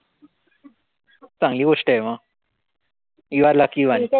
चांगली गोष्टय म. you are lucky one.